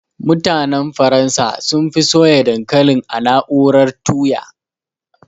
Mutanen Faransa sunfi soya dankalin a na'urar tuya